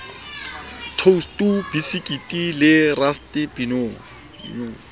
toustu bisekiti le raske dinong